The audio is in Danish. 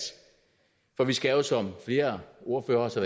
for vi skal jo som flere ordførere også